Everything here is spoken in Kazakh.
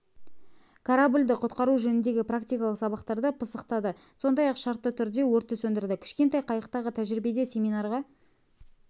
кораблді құтқару жөніндегі практикалық сабақтарды пысықтады сондай-ақ шартты түрде өртті сөндірді кішкентай қайықтағы тәжірибеде семинарға